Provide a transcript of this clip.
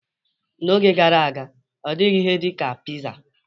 N'oge gara aga, ọ dịghị ihe dị ka pizza.